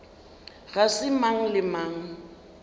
ga se mang le mang